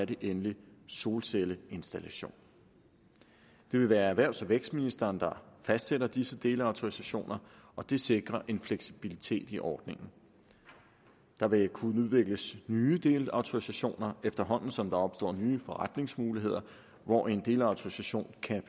endelig solcelleinstallation det vil være erhvervs og vækstministeren der fastsætter disse delautorisationer og det sikrer en fleksibilitet i ordningen der vil kunne udvikles nye delautorisationer efterhånden som der opstår nye forretningsmuligheder hvor en delautorisation kan